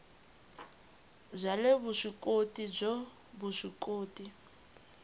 bya le vuswikoti byo vuswikoti